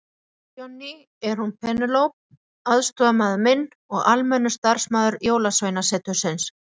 Þetta Johnny, er hún Penélope aðstoðarmaður minn og almennur starfsmaður Jólasveinasetursins.